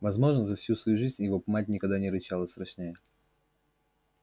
возможно за всю свою жизнь его мать никогда не рычала страшнее